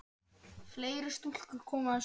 Fleiri stúlkur koma við sögu.